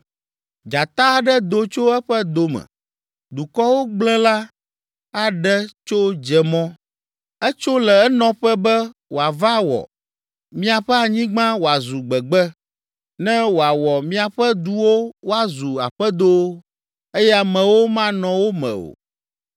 “Dzata aɖe do tso eƒe do me, dukɔwo gblẽla aɖe tso dze mɔ. Etso le enɔƒe be wòava wɔ miaƒe anyigba wòazu gbegbe, ne wòawɔ miaƒe duwo woazu aƒedowo eye amewo manɔ wo me o.